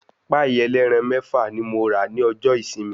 Pàì ẹlẹ́ran mẹ́fà ní mo rà ní ọjọ́ ìsinmi.